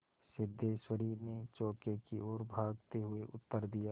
सिद्धेश्वरी ने चौके की ओर भागते हुए उत्तर दिया